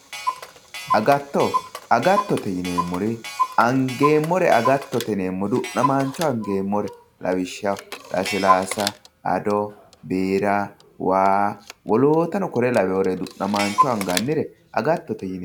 Agatto, agattote yineemmori angeemmore agattote yinemmo angeemmore lawishshaho lasilaasa ado biira waa, wolootano kuri lawinore du'namaancho angannire agattote yineemmo.